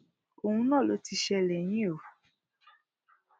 òun náà ló ti ń ṣẹlẹ yìí o